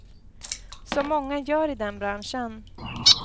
Som många gör i den branschen.